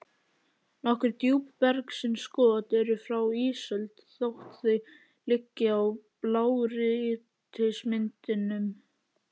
Nokkur djúpbergsinnskot eru frá ísöld þótt þau liggi í blágrýtismynduninni.